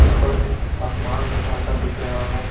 ऊपर में आसमान हल्का हल्का दिख रहा है।